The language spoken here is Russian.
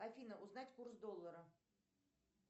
афина узнать курс доллара